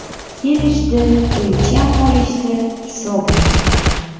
Kelishdi, o‘lcham olishdi, hisoblashdi.